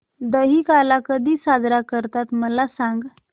दहिकाला कधी साजरा करतात मला सांग